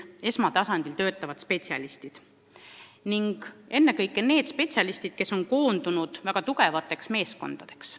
Meil peavad olema esmatasandil töötavad spetsialistid, kes on koondunud väga tugevateks meeskondadeks.